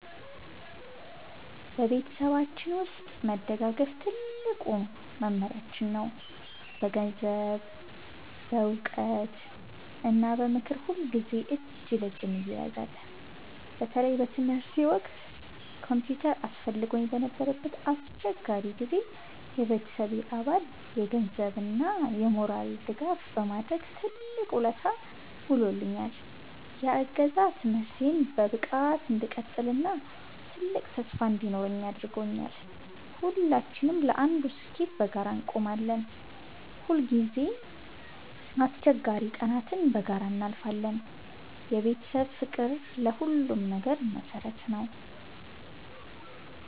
በቤተሰባችን ውስጥ መደጋገፍ ትልቁ መመሪያችን ነው። በገንዘብ፣ በዕውቀት እና በምክር ሁልጊዜ እጅ ለእጅ እንያያዛለን። በተለይ በትምህርቴ ወቅት ኮምፒውተር አስፈልጎኝ በነበረበት አስቸጋሪ ጊዜ፣ የቤተሰቤ አባል የገንዘብ እና የሞራል ድጋፍ በማድረግ ትልቅ ውለታ ውሎልኛል። ያ እገዛ ትምህርቴን በብቃት እንድቀጥል እና ትልቅ ተስፋ እንዲኖረኝ አድርጓል። ሁላችንም ለአንዱ ስኬት በጋራ እንቆማለን። ሁልጊዜም አስቸጋሪ ቀናትን በጋራ እናልፋለን። የቤተሰብ ፍቅር ለሁሉም ነገር መሰረት ነው።